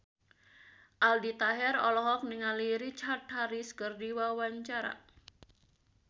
Aldi Taher olohok ningali Richard Harris keur diwawancara